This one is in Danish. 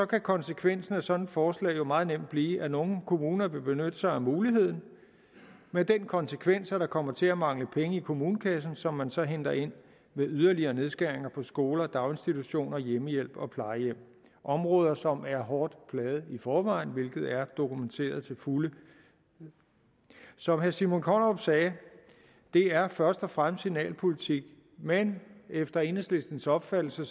kan konsekvensen af sådan et forslag jo meget nemt blive at nogle kommuner vil benytte sig af muligheden med den konsekvens at der kommer til at mangle penge i kommunekassen som man så henter ind ved yderligere nedskæringer på skoler daginstitutioner hjemmehjælp og plejehjem områder som er hårdt plaget i forvejen hvilket er dokumenteret til fulde som herre simon kollerup sagde det er først og fremmest signalpolitik men efter enhedslistens opfattelse